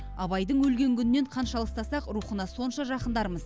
абайдың өлген күнінен қанша алыстасақ рухына сонша жақындармыз